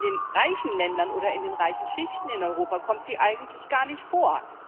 In den reichen Ländern oder in den reichen Schichten in Europa kommt sie eigentlich gar nicht vor.